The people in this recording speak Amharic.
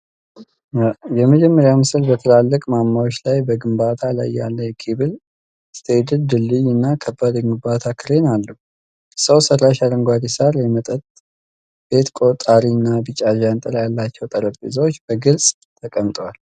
የመጀመሪያው ምስል በትላልቅ ማማዎች ላይ በግንባታ ላይ ያለ የኬብል ስቴይድድ ድልድይ እና ከባድ የግንባታ ክሬን አለ። ሰው ሰራሽ አረንጓዴ ሳር፣ የመጠጥ ቤት ቆጣሪ እና ቢጫ ዣንጥላ ያላቸው ጠረጴዛዎች በግልጽ ተቀምተዋል።